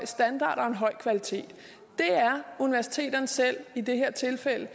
standard og en høj kvalitet det er universiteterne selv i det her tilfælde